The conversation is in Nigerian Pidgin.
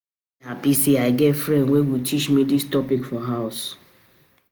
I dey happy say I get friend wey go teach me dis topic for house